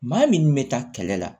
Maa min bɛ taa kɛlɛ la